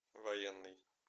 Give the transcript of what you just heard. военный